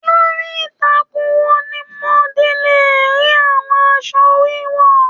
Lórí ìtàkùn wo ni mo di le rí àwọn aṣọ wiwọ?